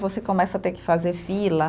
Você começa a ter que fazer fila.